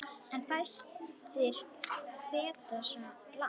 En fæstir feta svo langt.